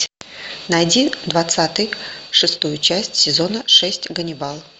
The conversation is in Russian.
найди двадцатый шестую часть сезона шесть ганнибал